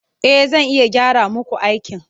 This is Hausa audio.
E, zan iya gyara muku aikin.